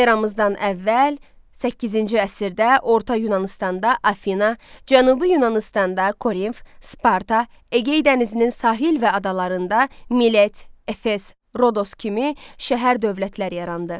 Eramızdan əvvəl səkkizinci əsrdə Orta Yunanıstanda Afina, Cənubi Yunanıstanda Korinf, Sparta, Egey dənizinin sahil və adalarında Milet, Efes, Rodos kimi şəhər dövlətləri yarandı.